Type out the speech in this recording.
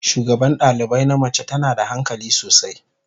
Shugaban dalibai na mace tana da hankali sosai.